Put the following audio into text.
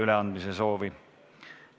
Üleandmise soovi ei ole.